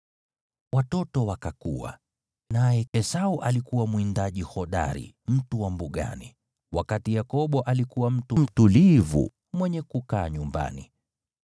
Watoto wakakua, naye Esau akakuwa mwindaji hodari, mtu wa mbugani, wakati Yakobo alikuwa mtu mtulivu, mwenye kukaa nyumbani.